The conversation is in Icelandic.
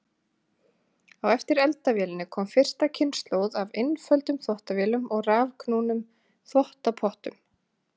Á eftir eldavélinni kom fyrsta kynslóð af einföldum þvottavélum og rafknúnum þvottapottum.